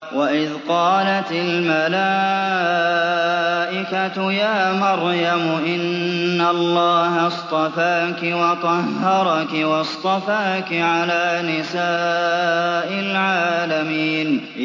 وَإِذْ قَالَتِ الْمَلَائِكَةُ يَا مَرْيَمُ إِنَّ اللَّهَ اصْطَفَاكِ وَطَهَّرَكِ وَاصْطَفَاكِ عَلَىٰ نِسَاءِ الْعَالَمِينَ